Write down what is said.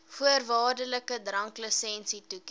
voorwaardelike dranklisensie toeken